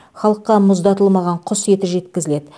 халыққа мұздатылмаған құс еті жеткізіледі